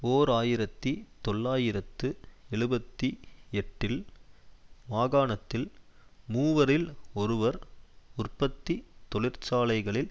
ஓர் ஆயிரத்தி தொள்ளாயிரத்து எழுபத்தி எட்டில் மாகாணத்தில் மூவரில் ஒருவர் உற்பத்தி தொழிற்சாலைகளில்